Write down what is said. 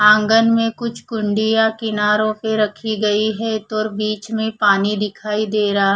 आंगन में कुछ कुंडिया किनारो पे रखी गई है तोर बीच में पानी दिखाई दे रहा--